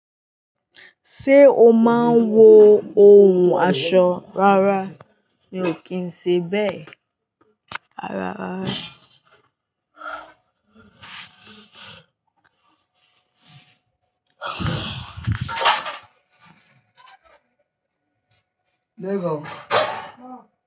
Ṣé o máa ń wọ ohun aṣọ rárá mi ò kí ń ṣe bẹ́ẹ̀ rárá rárá.